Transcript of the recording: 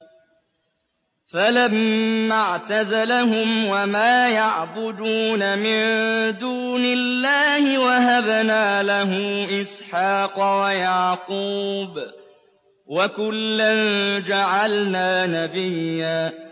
فَلَمَّا اعْتَزَلَهُمْ وَمَا يَعْبُدُونَ مِن دُونِ اللَّهِ وَهَبْنَا لَهُ إِسْحَاقَ وَيَعْقُوبَ ۖ وَكُلًّا جَعَلْنَا نَبِيًّا